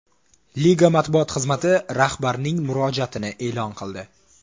Liga matbuot xizmati rahbarning murojaatni e’lon qildi.